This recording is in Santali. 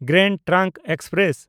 grand trunk express